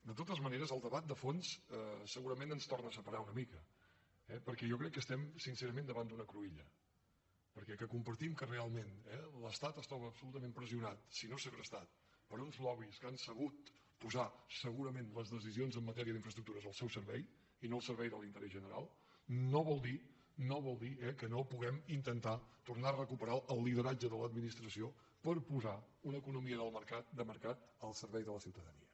de totes maneres el debat de fons segurament ens torna a separar una mica perquè jo crec que estem sincerament davant d’una cruïlla perquè que compartim que realment l’estat està absolutament pressionat si no segrestat per uns lobbys que han sabut posar segurament les decisions en matèria d’infraestructures al seu servei i no al servei de l’interès general no vol dir no vol dir que no puguem intentar tornar a recuperar el lideratge de l’administració per posar una economia de mercat al servei de la ciutadania